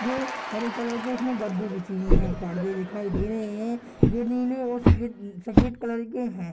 जो हरे कलर के जिसमे गद्दे बिछी हुई हैं परदे दिखाई दे रहे हैं जो नीले और सफ़ेद आ सफ़ेद कलर के हैं |